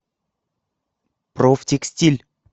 профтекстиль